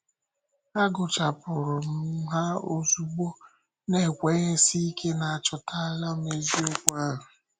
Agụchàpụ̀rù m ha ozugbo, na-ekwènyèsí ike na achọtàlà m eziokwu ahụ.